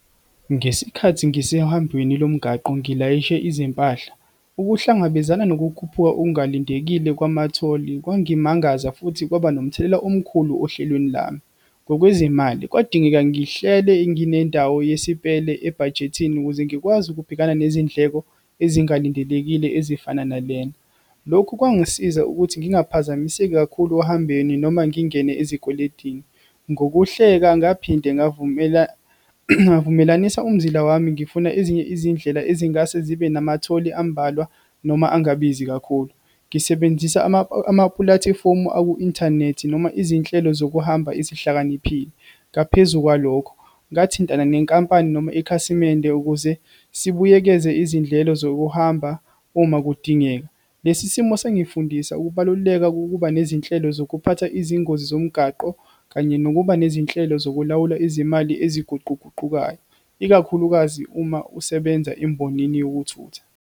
Ngesikhathi ngisehambweni lomgaqo ngilayishe izimpahla, ukuhlangabezana nokukhuphuka okungalindekile kwamatholi kwangimangaza, futhi kwaba nomthelela omkhulu ohlelweni lami. Ngokwezimali, kwadingeka ngihlele nginendawo yesipele ebhajethi ukuze ngikwazi ukubhekana nezindleko ezingalindelekile ezifana nalena. Lokhu kwangisiza ukuthi ngingaphazamiseki kakhulu ohambeni, noma ngingene ezikweletini. Ngokuhleka, ngaphinde ngavumelanisa umzila wami ngifuna ezinye izindlela ezingase zibe namatholi ambalwa, noma angabizi kakhulu. Ngisebenzisa amapulatifomu aku-inthanethi, noma izinhlelo zokuhamba ezihlakaniphile. Ngaphezu kwalokho, ngathintana nenkampani, noma ikhasimende ukuze sibuyekeze izindlelo zokuhamba uma kudingeka. Lesi simo sangifundisa ukubaluleka kokuba nezinhlelo zokuphatha izingozi zomgaqo, kanye nokuba nezinhlelo zokulawula izimali eziguquguqukayo, ikakhulukazi uma usebenza embonini yokuthutha.